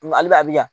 Ale bɛ abi yan